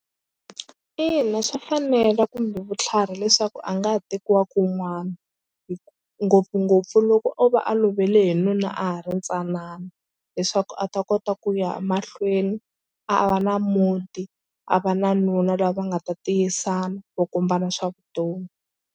Ina swa fanela kumbe vutlhari leswaku a nga tekiwa kun'wana hi ngopfungopfu loko o va a lovele hi nuna a ha ri ntsanana leswaku a ta kota ku ya mahlweni a va na muti a va na nuna lava nga ta tiyisana vo kombana swa vutomi.